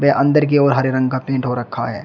व अंदर की ओर हरे रंग का पेंट हो रखा है।